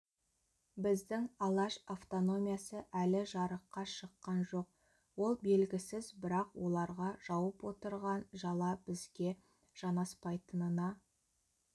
біздің алаш автономиясы әлі жарыққа шыққан жоқ ол белгісіз бірақ оларға жауып отырған жала бізге жанаспайтынына